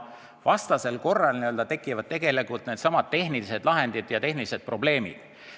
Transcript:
Vastasel korral tekivad tegelikult needsamad tehnilised lahendid ja tehnilised probleemid.